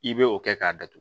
I bɛ o kɛ k'a datugu